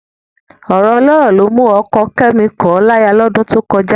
Ọ̀rọ̀ ọlọ́rọ̀ ló mú ọkọ Kẹ́mi kọ̀ ọ́ láya lọ́dún tó kọjá